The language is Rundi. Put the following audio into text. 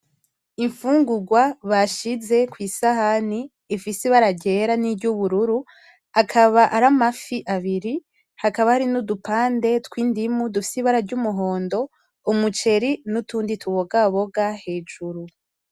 Imfungugwa bashize kw’isahani ifise ibara ryera niry’ubururu akaba ari amafi abiri hakaba hari n’udupande tw’indimu dufise ibara ry’umuhondo; umuceri n’utundi tubogaboga hejuru.